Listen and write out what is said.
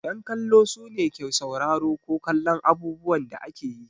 Yan kallo sune su ke sauraro ko kallon abubuwan da ake yi.